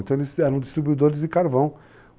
Então, eles eram distribuidores de carvão.